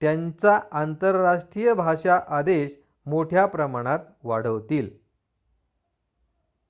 त्यांचा आंतरराष्ट्रीय भाषा आदेश मोठ्या प्रमाणात वाढवतील